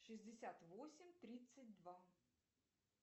шестьдесят восемь тридцать два